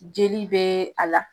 Jeli be a la.